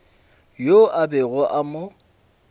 yo a bego a mo